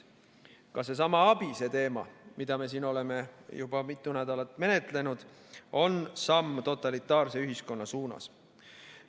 Ka seesama ABIS‑e teema, mida me siin oleme juba mitu nädalat menetlenud, on samm totalitaarse ühiskonna suunas.